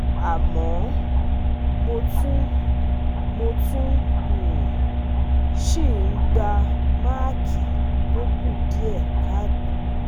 Àmọ́, mo tún mo tún um ń si um n gba maaki to ku die kaato